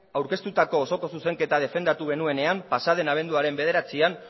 aurkeztutako osoko zuzenketa defendatu genuenean pasa den abenduaren bederatzian